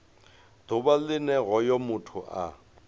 ḓuvha line hoyo muthu a